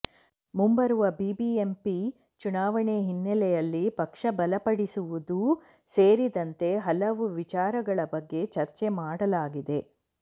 ಮುಂಬರುವ ಬಿಬಿಎಂಪಿ ಚುನಾವಣೆ ಹಿನ್ನೆಲೆಯಲ್ಲಿ ಪಕ್ಷ ಬಲಪಡಿಸುವುದೂ ಸೇರಿದಂತೆ ಹಲವು ವಿಚಾರಗಳ ಬಗ್ಗೆ ಚರ್ಚೆ ಮಾಡಲಾಗಿದೆ